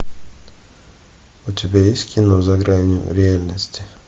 у тебя есть кино за гранью реальности